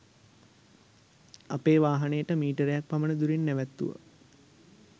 අපේ වාහනයට මීටරයක්‌ පමණ දුරින් නැවැත්තුවා.